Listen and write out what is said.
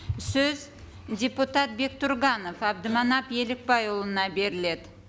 сөз депутат бектұрғанов әбдіманап елікбайұлына беріледі